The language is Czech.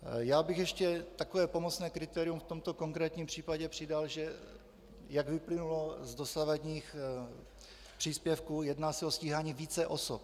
Já bych ještě takové pomocné kritérium v tomto konkrétním případě přidal, že jak vyplynulo z dosavadních příspěvků, jedná se o stíhání více osob.